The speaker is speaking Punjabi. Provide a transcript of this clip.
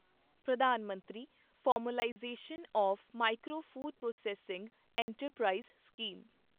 ਪ੍ਰਧਾਨ ਮੰਤਰੀ formalisation of micro food processing enterprise scheme